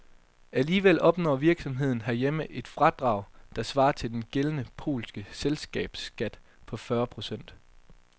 Alligevel opnår virksomheden herhjemme et fradrag, der svarer til den gældende polske selskabsskat på fyrre procent.